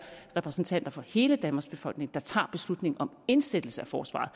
repræsentanter for hele danmarks befolkning der tager beslutning om indsættelse af forsvaret